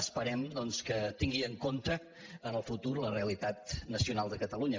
esperem doncs que tingui en compte en el futur la realitat nacional de catalunya